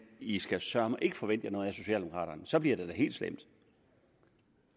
i skal søreme ikke forvente jer noget af socialdemokraterne for så bliver det da helt slemt